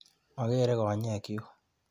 Magere konyekchu.